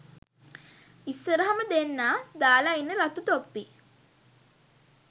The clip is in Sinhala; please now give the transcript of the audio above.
ඉස්සරහම දෙන්නා දාලා ඉන්නෙ රතු තොප්පි